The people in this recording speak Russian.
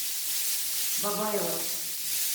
бабаево